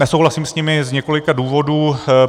Nesouhlasím s nimi z několika důvodů.